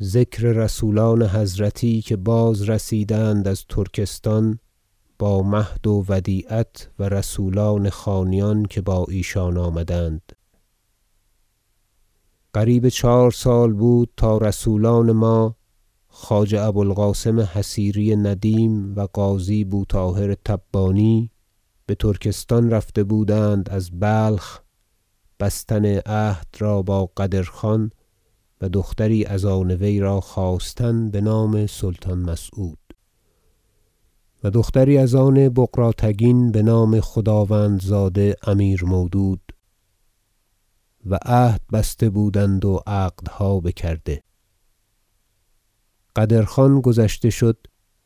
ذکر رسولان حضرتی که بازرسیدند از ترکستان با مهد و ودیعت و رسولان خانیان که با ایشان آمدند قریب چهار سال بود تا رسولان ما خواجه ابو القاسم حصیری ندیم و قاضی بو طاهر تبانی بترکستان رفته بودند از بلخ بستن عهد را با قدرخان و دختری از آن وی خواستن بنام سلطان مسعود و دختری از آن بغراتگین بنام خداوندزاده امیر مودود و عهد بسته بودند و عقدها بکرده قدرخان گذشته شد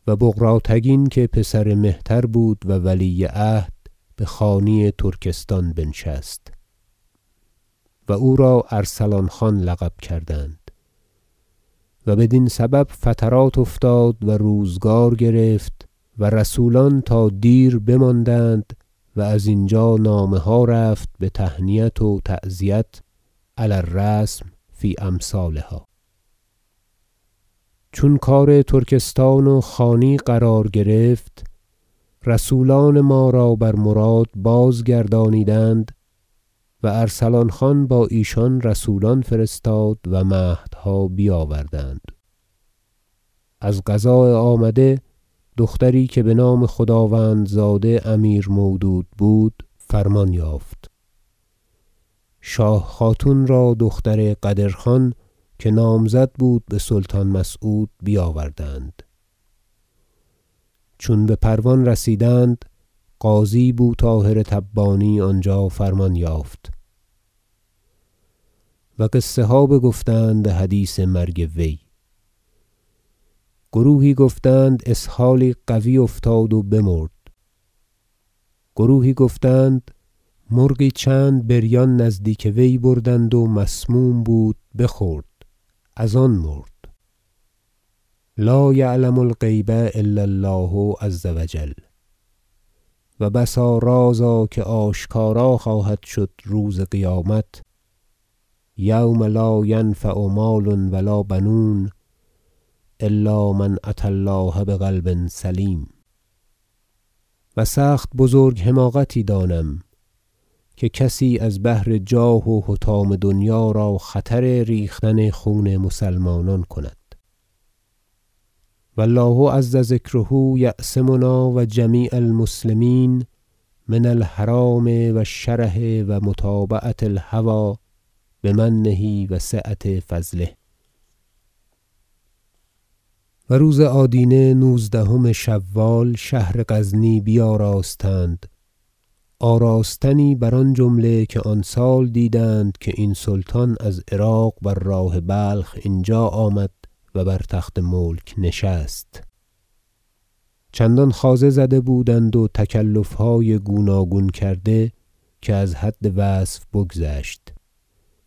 و بغراتگین که پسر مهتر بود و ولی عهد بخانی ترکستان بنشست و او را ارسلان خان لقب کردند و بدین سبب فترات افتاد و روزگار گرفت و رسولان تا دیر بماندند و از ینجا نامه ها رفت بتهنیت و تعزیت علی الرسم فی امثالها چون کار ترکستان و خانی قرار گرفت رسولان ما را بر مراد بازگردانیدند و ارسلان خان با ایشان رسولان فرستاد و مهدها بیاوردند از قضاء آمده دختری که بنام خداوندزاده امیر مودود بود فرمان یافت شاه خاتون را دختر قدرخان که نامزد بود بسلطان مسعود بیاوردند چون بپروان رسیدند قاضی بو طاهر تبانی آنجا فرمان یافت و قصه ها گفتند بحدیث مرگ وی گروهی گفتند اسهالی قوی افتاد و بمرد گروهی گفتند مرغی چند بریان نزدیک وی بردند و مسموم بود بخورد از آن مرد لا یعلم الغیب الا الله عز و جل و بسا رازا که آشکارا خواهد شد روز قیامت یوم لا ینفع مال و لا بنون إلا من أتی الله بقلب سلیم و سخت بزرگ حماقتی دانم که کسی از بهر جاه و حطام دنیا را خطر ریختن خون مسلمانان کند و الله عز ذکره یعصمنا و جمیع المسلمین من الحرام و الشره و متابعة الهوی بمنه و سعة فضله و روز آدینه نوزدهم شوال شهر غزنی بیاراستند آراستنی بر آن جمله که آن سال دیدند که این سلطان از عراق بر راه بلخ اینجا آمد و بر تخت ملک نشست چندان خوازه زده بودند و تکلفهای گوناگون کرده که از حد وصف بگذشت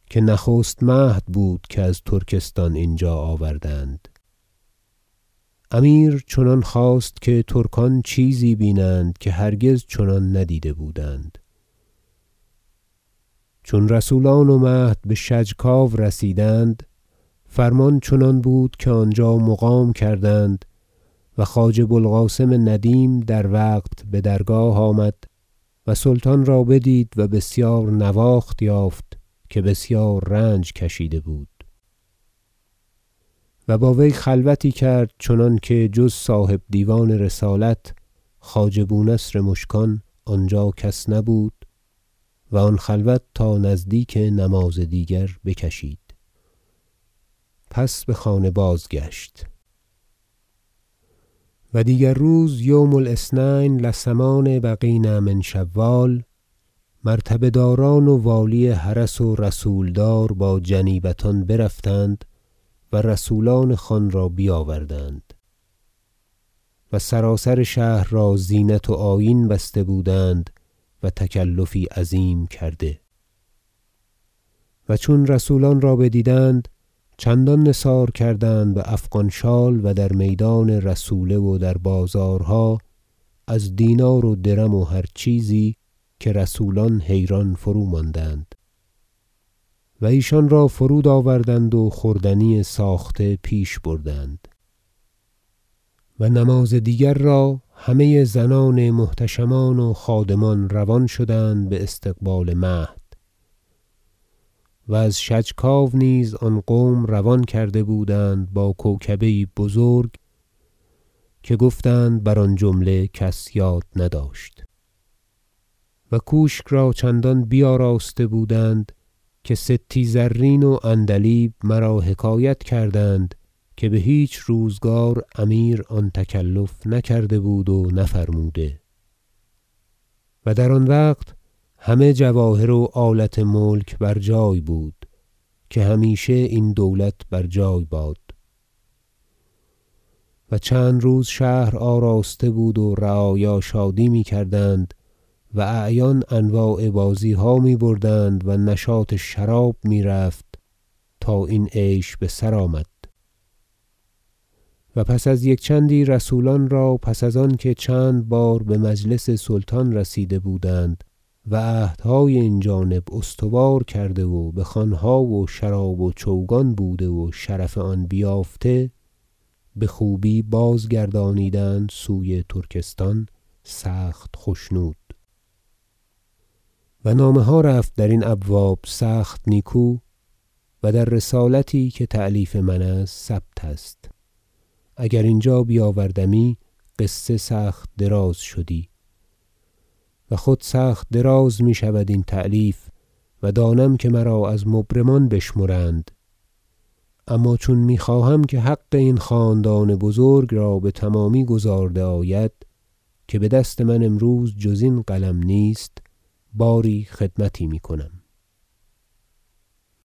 که نخست مهد بود که از ترکستان اینجا آوردند امیر چنان خواست که ترکان چیزی بیند که هرگز چنان ندیده بودند چون رسولان و مهد به شجکاو رسیدند فرمان چنان بود که آنجا مقام کردند و خواجه بو القاسم ندیم در وقت بدرگاه آمد و سلطان را بدید و بسیار نواخت یافت که بسیار رنج کشیده بود و با وی خلوتی کرد چنانکه جز صاحب دیوان رسالت خواجه بونصر مشکان آنجا کس نبود و آن خلوت تا نزدیک نماز دیگر بکشید پس بخانه بازگشت و دیگر روز یوم الأثنین لثمان بقین من شوال مرتبه داران و والی حرس و رسولدار با جنیبتان برفتند و رسولان خان را بیاوردند و سراسر شهر را زینت و آیین بسته بودند و تکلفی عظیم کرده و چون رسولان را بدیدند چندان نثار کردند بافغان شال و در میدان رسوله و در بازارها از دینار و درم و هر چیزی که رسولان حیران فروماندند و ایشان را فرود آوردند و خوردنی ساخته پیش بردند و نماز دیگر را همه زنان محتشمان و خادمان روان شدند باستقبال مهد و از شجکاو نیز آن قوم روان کرده بودند با کوکبه یی بزرگ که گفتند بر آن جمله کس یاد نداشت و کوشک را چنان بیاراسته بودند که ستی زرین و عندلیب مرا حکایت کردند که بهیچ روزگار امیر آن تکلف نکرده بود و نفرموده و در آن وقت همه جواهر و آلت ملک بر جای بود که همیشه این دولت بر جای باد و چند روز شهر آراسته بود و رعایا شادی میکردند و اعیان انواع بازیها میبردند و نشاط شراب میرفت تا این عیش بسر آمد و پس از یک چندی رسولان را پس از آنکه چند بار بمجلس سلطان رسیده بودند و عهدهای این جانب استوار کرده و بخوانها و شراب و چوگان بوده و شرف آن بیافته بخوبی بازگردانیدند سوی ترکستان سخت خشنود و نامه ها رفت درین ابواب سخت نیکو و در رسالتی که تألیف من است ثبت است اگر اینجا بیاوردمی قصه سخت دراز شدی و خود سخت دراز میشود این تألیف و دانم که مرا از مبرمان بشمرند اما چون میخواهم که حق این خاندان بزرگ را بتمامی گزارده آید که بدست من امروز جز این قلم نیست باری خدمتی میکنم